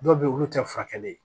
Dɔw bɛ yen olu tɛ furakɛli ye